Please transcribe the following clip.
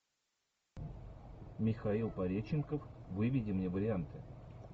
михаил пореченков выведи мне варианты